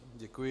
Děkuji.